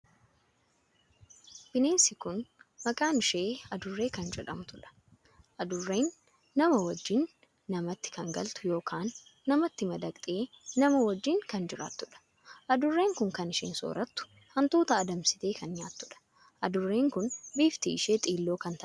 Bineensi kun maqaan ishee adurree kan jedhamtuudha. adurree nama wajjin namatti kan galtu ykn namatti madaqtee namaa wajjin kan jiraattuudha. adurree kun kan isheen soorattu hantuuta adamsite kan nyaattuudha. adurreen kun bifti ishee xiilloo kan taatee fi eegeen ishee dheeraa kan taheedha.